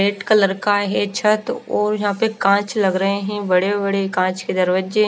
red colour का ये छत और यहाँ पर काच लग रहे है बड़े बड़े काच के दरवाज़े --